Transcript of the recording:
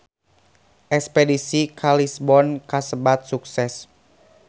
Espedisi ka Lisbon kasebat sukses